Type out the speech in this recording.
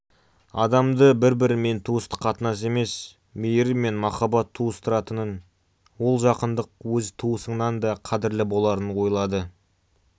адамды бір-бірімен туыстық қатынас емес мейірім мен махаббат туыстыратынын ол жақындық өз туысыңнан да қадірлі боларын ойлады